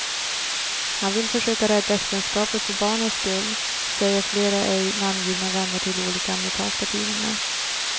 Han vill försöka rädda äktenskapet för barnens skull, säger flera ej namngivna vänner till olika amerikanska tidningar.